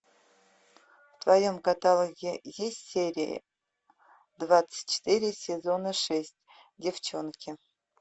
в твоем каталоге есть серия двадцать четыре сезона шесть девченки